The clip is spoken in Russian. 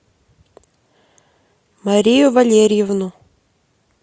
марию валерьевну